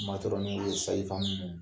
Matɔrɔniw , sasifamu